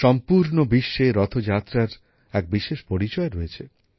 সম্পূর্ণ বিশ্বে রথযাত্রার এক বিশেষ পরিচয় রয়েছে